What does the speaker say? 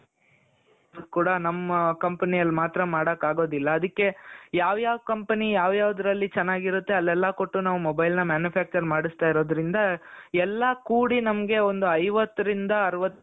ಕೂಡ ನಮ್ಮ company ಯಲ್ಲಿ ಮಾತ್ರ ಮಾಡಕ್ ಆಗೋದಿಲ್ಲ ಅದ್ದಿಕೆ ಯಾವ್ ಯಾವ್ company ಯಾವ್ ಯಾವ್ದರಲ್ಲಿ ಚೆನ್ನಾಗಿರುತ್ತೆ ಅಲೆಲ್ಲ ಕೊಟ್ಟು ನಾವು mobile ನ manufacture ಮಾಡಸ್ತೈರೋದ್ರಿಂದ ಎಲ್ಲಾ ಕುಡಿ ನಮ್ಮಗೆ ಒಂದ್ ಐವತ್ತು ರಿಂದ ಅರವತ್ತು .